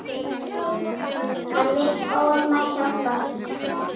Hann vill ólmur hjálpa.